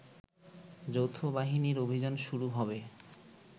যৌথবাহিনীর অভিযান শুরু হবে